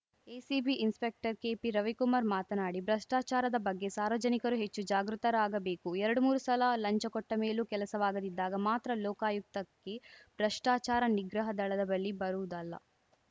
ACB inspector ಕೆಪಿರವಿಕುಮಾರ್ ಮಾತನಾಡಿ ಭ್ರಷ್ಟಾಚಾರದ ಬಗ್ಗೆ ಸಾರ್ವಜನಿಕರು ಹೆಚ್ಚು ಜಾಗೃತರಾಗಬೇಕು ಎರಡುಮೂರು ಸಲ ಲಂಚ ಕೊಟ್ಟಮೇಲೂ ಕೆಲಸವಾಗದಿದ್ದಾಗ ಮಾತ್ರ ಲೋಕಾಯುಕ್ತಕ್ಕೆ ಭ್ರಷ್ಟಾಚಾರ ನಿಗ್ರಹ ದಳದ ಬಳಿ ಬರುವುದಲ್ಲ